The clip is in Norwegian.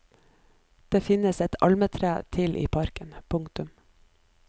Det finnes ett almetre til i parken. punktum